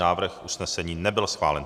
Návrh usnesení nebyl schválen.